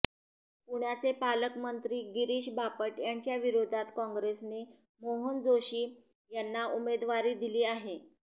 पुण्याचे पालकमंत्री गिरीश बापट यांच्याविरोधात काँग्रेसने मोहन जोशी यांना उमेदवारी दिली आहे